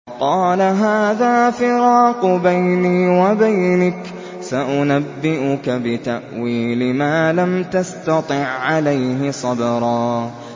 قَالَ هَٰذَا فِرَاقُ بَيْنِي وَبَيْنِكَ ۚ سَأُنَبِّئُكَ بِتَأْوِيلِ مَا لَمْ تَسْتَطِع عَّلَيْهِ صَبْرًا